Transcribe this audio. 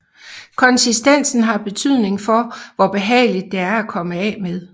Konsistensen har betydning for hvor behageligt det er at komme af med